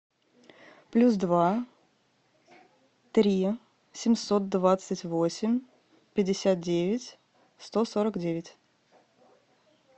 плюс два три семьсот двадцать восемь пятьдесят девять сто сорок девять